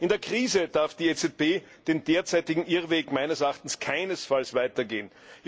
In der Krise darf die EZB den derzeitigen Irrweg meines Erachtens keinesfalls weitergehen.